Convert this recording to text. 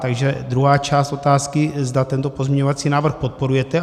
Takže druhá část otázky - zda tento pozměňovací návrh podporujete.